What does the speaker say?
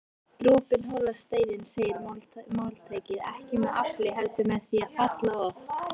Dropinn holar steininn segir máltækið, ekki með afli heldur með því að falla oft